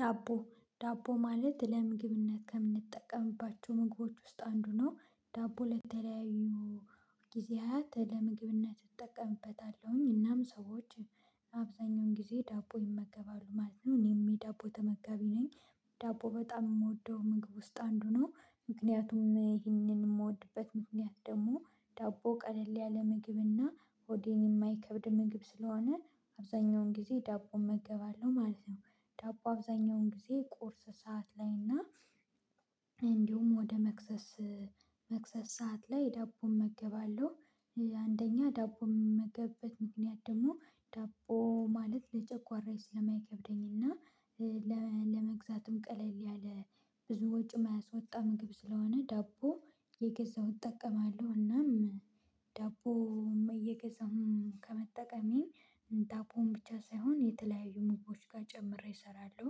ዳቦ ዳቦ ማለት ለምግብነት ከምንጠቀምባቸው ምግቦች ውስጥ አንዱ ነው። ዳቦ ለተለያዩ ጊዜያት ለምግብነት እጠቀምበታለሁኝ እናም ሰዎች አብዛኛውን ጊዜ ዳቦ ይመገባሉ ማለት ነው እኔም ዳቦ ተመጋቢ ነኝ። ዳቦ በጣም የምወደው ምግብ ውስጥ አንዱ ነው። ምክንያቱም ይህንን የምወድበት ምክንያት ደግሞ ዳቦ ቀለል ያለ ምግብና ሆዴን የማይከብድ ምግብ ስለሆነ አብዛኛውን ጊዜ ዳቦ እመገባለሁ ማለት ነው። ዳቦ አብዛኛውን ጊዜ ቁርስ ሰዓት ላይ እና እንዲሁም ወደ መክሰስ መክሰስ ሰዓት ላይ ዳቦ እመገባለሁ። አንደኛ ዳቦ የምመገበት ምክንያት ደግሞ ዳቦ ማለት ለጨጓራ ስለማይከብደኝና ለመግዛትም ቀለል ያለ ብዙ ወጪም ማያስወጣ ምግብ ስለሆነ ዳቦ እየገዛው እጠቀማለሁ። እናም ዳቦ እየገዛው ከመጠቀሜ ዳቦውን ብቻ ሳይሆን የተለያዩ ምግቦች ጋር ጨምሬ እሰራለሁ።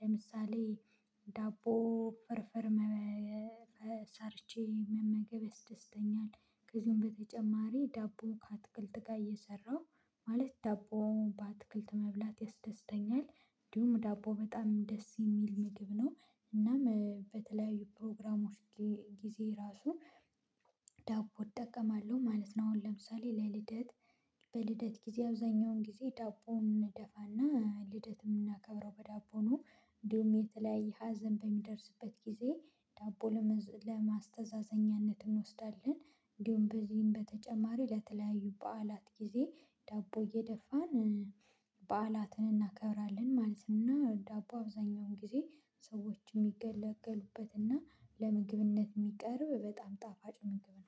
ለምሳሌ ዳቦ ፍርፍር ሰርቼ መመገብ ያስደስተኛል። ከዚሁም በተጨማሪ ዳቦ ከአትክልት ጋር እየሰራሁ ማለት ዳቦውን በአትክልት መብላት ያስደስተኛል። እንዲሁም ዳቦ በጣም ደስ የሚል ምግብ ነው። እናም በተለያዩ ፕሮግራሞች ጊዜ ራሱ ዳቦ እጠቀማለሁ ማለት ነው። አሁን ለምሳሌ ለልደት በልደት ጊዜ አብዛኛውን ጊዜ ዳቦን እደፋና ልደትን ምናከብረው በዳቦ ነው። እንዲሁም የተለያየ ሀዘን በሚደርስበት ጊዜ ዳቦ ለማስተዛዘኛነት እንወስዳለን። እንዲሁም በዚህም በተጨማሪ ለተለያዩ በዓላት ጊዜ ዳቦ እየደፋን በዓላትን እናከብራለን ማለት ነው። እና ዳቦ አብዛኛውን ጊዜ ሰዎች የሚገለገሉበትና ለምግብነት የሚቀርብ በጣም ጣፋጭ ምግብ ነው።